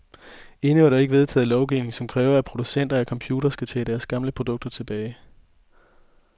Endnu er der ikke vedtaget lovgivning, som kræver, at producenter af computere skal tage deres gamle produkter tilbage.